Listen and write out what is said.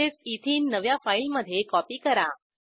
तसेच एथेने नव्या फाईलमधे कॉपी करा